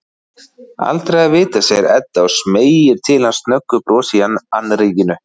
Aldrei að vita, segir Edda og smeygir til hans snöggu brosi í annríkinu.